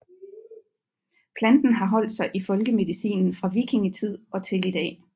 Planten har holdt sig i folkemedicinen fra vikingetid og til i dag